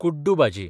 कुड्डू भाजी